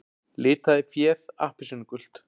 Litaði féð appelsínugult